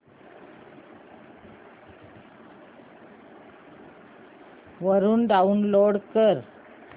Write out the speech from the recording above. वरून डाऊनलोड कर